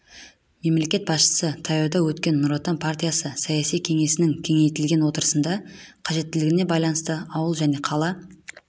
мемлекет басшысы таяуда өткен нұр отан партиясы саяси кеңесінің кеңейтілген отырысында қажеттілігіне байланысты ауыл және қала